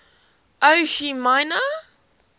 ho chi minh